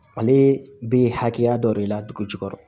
Ale bɛ hakɛya dɔ de ladugu jukɔrɔ